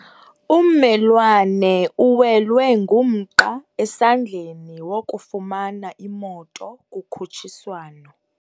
Ummelwane uwelwe ngumqa esandleni wokufumana imoto kukhutshiswano.